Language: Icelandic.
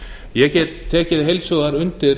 ég get tekið heils hugar undir